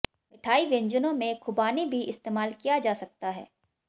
मिठाई व्यंजनों में खुबानी भी इस्तेमाल किया जा सकता है